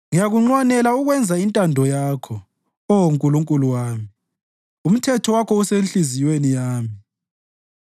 Ngiyakunxwanela ukwenza intando yakho, Oh Nkulunkulu wami; umthetho wakho usenhliziyweni yami.”